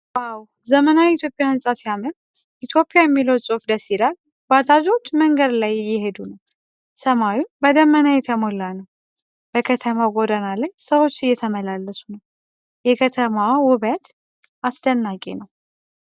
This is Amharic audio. ዋው ! ዘመናዊ የኢትዮጵያ ህንፃ ሲያምር ! "ኢትዮጵያ" የሚለው ጽሑፍ ደስ ይላል። ባጃጆች መንገድ ላይ እየሄዱ ነው ። ሰማዩ በደመና የተሞላ ነው። በከተማው ጎዳና ላይ ሰዎች እየተመላለሱ ነው። የከተማዋ ውበት አስደናቂ ነው!!።